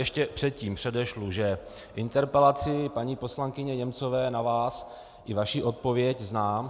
Ještě předtím předešlu, že interpelaci paní poslankyně Němcové na vás i vaši odpověď znám.